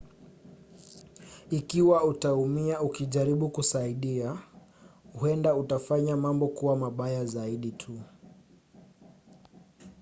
ikiwa utaumia ukijaribu kusaidia huenda utafanya mambo kuwa mabaya zaidi tu